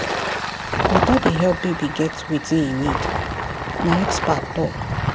water dey help baby get wetin e need na expert talk.